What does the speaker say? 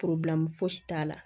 fosi t'a la